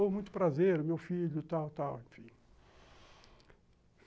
Ô, muito prazer, meu filho, tal, tal, enfim.